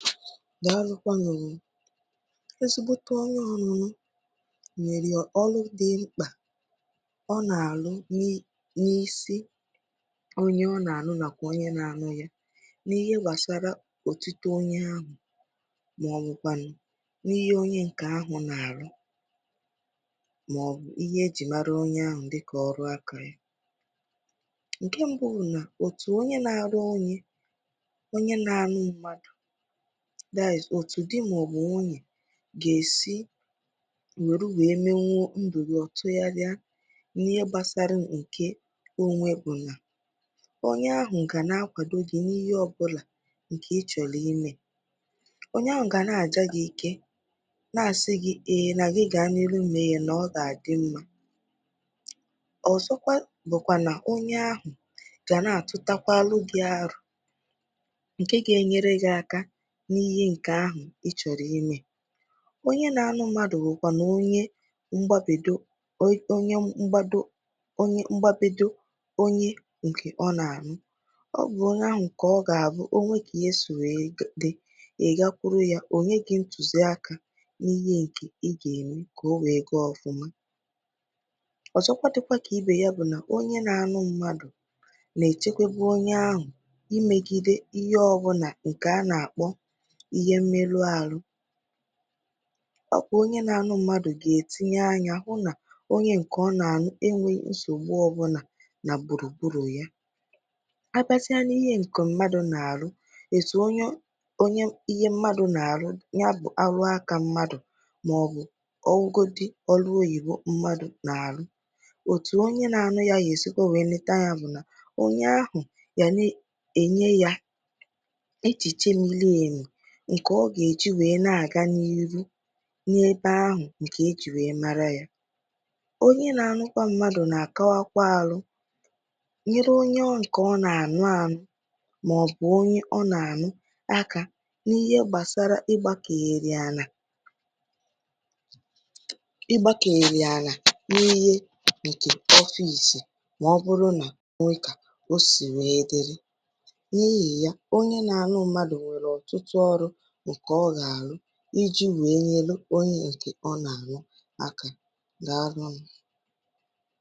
Dàlu kwanụ, dịkà ajụ̀jụ ànyị si wee dị, etu ọnọ̀dụ̀ ndị ùwè ojii nàkwà ndị àgha, ndị ǹkè a nà-akpọ̀ soldier gà-èsi wù nwèrètụ̇ yá rìà echìchè ọbì̇ ànyị n’ihe gbàsara ịnọ̀ n’aka dị mmà n’enwèghị̇ nsògbu ọbụlà, bụ̀ ihe ǹkè nwere ọ̀tụtụ̀ urù nàkwà ọ̀tụtụ̀ ọ̀ghọm. N’ogè dịkà ogè ùgbúà, ọ̀ gà-amasị m ikówàpụ̀tà urù ndị ahụ̀ ǹkè dị nà ya, ǹkè mbù bụ̀ nà, ebe ọbụnà màọ̀bụ̀ òbòdò ọbụnà ndị ùwè ojii nọ̀ nà ya, a nà-èkwèta nà ihe ọbụnà ǹkè nà-àgà n’òbòdò ahụ̀ nà-àgà ǹkèọ̀mà, n’ihì nà ọnọ̀dụ̀ hȧ n’òbòdò ahụ̀ gà-ème kà ndị ọbụnà ǹkè nà-àkpà ajà àgwà ọbụnà si nà ya bụ̀ gburugburu wee pụọ, hà na-enyere aka ihụ nà ọ̀ dịghị ikpe nà ezìhì ezi màọ̀bụ̀ òmume nà ezìhì ezi ǹkè nà-adị ire nà òbòdò ahụ̀. Ọ̀zọ̀ dịkà ibè yá bụ̀ nà, ndị ùwè ojii nà-ènye aka itinye ìwù ǹkè nà-achị òbòdò, ǹkè ọ gà-àbụ ọ̀bụrụ nà e bighị ndụ̀, nà nà ìwù ahụ̀ ǹkè hà tìrì, ọ gà-ème kà aka kpàrà gị̇ mà tinyèkwa gị̇ n’ụnọ̇ mkpọ̀rọ̀, ebe ị̇ gà-anọ̀ wee tàà ahụhụ ìrùfùrù hà isi. Ọ̀zọ̀ dị̇kwà kà ibè yá bụ̀ nà ọnọ̀dụ̀ ndị ùwè ojii nà òbòdò nà-ènye aka ịchọpụ̀tà ndị ahụ̀ ǹkè nà-eme àjọ̀ òmume dị iche iche dịkà ịtọ̀rọ̀ mmadụ̀ màọ̀bụ̀ ime aka ǹtụtụ̀. Ọnọdụ ndị ùwè ojii nà òbòdò ahụ̀ gà-ènye aka ihụ̇ nà ihe ọjọọ dị òtù àdịghị ire. Ebe ọ̀ghọm dị nà ya bụ̀ nà ǹkè mbù bụ̀ nà ndị mmadụ̀ nà-ekwèta nà ndị ùwè ojii bụ̀ ndị ǹkè nà-ekpe ikpe n’ezìhì ezi, n’ihi nà, n’ihì ya, ndị mmadụ̀ anàghị̇ àhụ màọ̀bụ̀ àchọ kà ikpe hà banye n’aka ndị ùwè ojii n’ihì nà hà kwètèrè nà ọ̀ bụrụ nà ọ banye n’aka hà, nà ikpe ahụ̀ agàghị̇ ènwete ikpe zìrì ezi. Ọ̀zọ̀ dịkwà kà ibè yá bụ̀ nà ndị mmadụ̀ nà-ekwèta nà gbùrùgbùrù ọbụnà ǹkè ndị ùwè ojii dị̀ nà ya, nà ihe àghụ̀ghọ̀ nà-èsòkèrè yá, n’ihì nà ọ̀ bụrụ nà hà àbịa n’okèra àlà ya, hà agaghị ekwèkwà enyechikwà gị azụ, ọ̀bụrụgodị nà hà ànọ̀dụ̀ nà ya mechaa ihe ǹkè hà chọ̀rọ̀ ime. Dée emenụ.